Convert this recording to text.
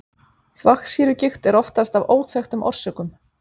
Þvagsýrugigt er oftast af óþekktum orsökum.